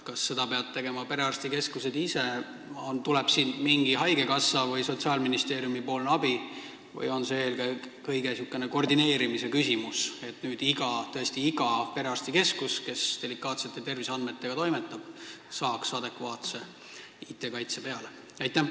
Kas seda peavad tegema perearstikeskused ise, tuleb siin mingi haigekassa või Sotsiaalministeeriumi abi või on see eelkõige niisugune koordineerimise küsimus, et tõesti iga perearstikeskus, kes delikaatsete terviseandmetega toimetab, saaks adekvaatse IT-kaitse peale?